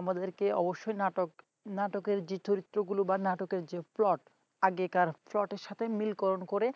আমাদেরকে অবশ্যই নাটকের নাটকের যে চরিত্রগুলো বা নাটকের যে plot আগেকার plot সঙ্গে মিল করণ করে